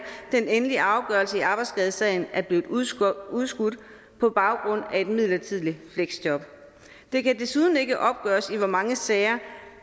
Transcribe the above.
den endelige afgørelse i arbejdsskadesagen er blevet udskudt udskudt på baggrund af et midlertidigt fleksjob det kan desuden ikke opgøres i hvor mange sager